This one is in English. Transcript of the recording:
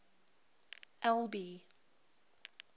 albi